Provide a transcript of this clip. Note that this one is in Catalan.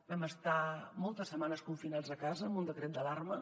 vam estar moltes setmanes confinats a casa amb un decret d’alarma